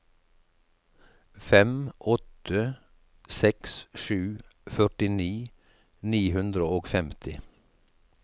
fem åtte seks sju førtini ni hundre og femti